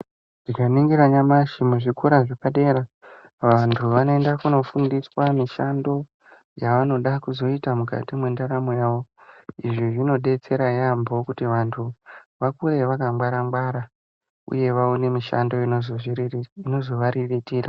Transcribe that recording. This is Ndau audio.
Tinoningira nyamashi muzvikora zvepadera vantu vanoenda kundofundiswa mishando yavanoda kuzoita mukati mendaramo yavo izvi zvinodetsera yambo kuti vantu vakure vakwangwara ngwara uye vaone mishando inozovariritira.